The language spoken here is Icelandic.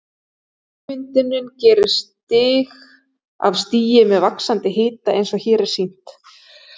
Ummyndunin gerist stig af stigi með vaxandi hita eins og hér er sýnt